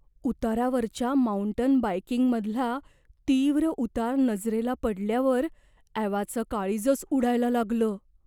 उतारावरच्या mountain बाइकिंगमधला तीव्र उतार नजरेला पडल्यावर ॲवाचं काळीजच उडायला लागलं.